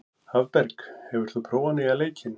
Hafberg, hefur þú prófað nýja leikinn?